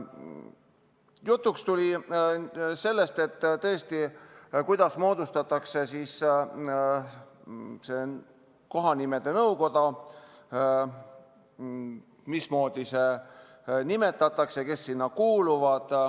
Jutuks tuli see, kuidas kohanimenõukogu moodustatakse, mismoodi selle liikmed nimetatakse ja kes sinna kuuluvad.